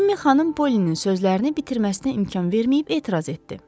Cimmy Xanım Pollinin sözlərini bitirməsinə imkan verməyib etiraz etdi.